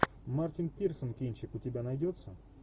мартин пирсон кинчик у тебя найдется